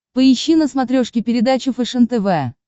поищи на смотрешке передачу фэшен тв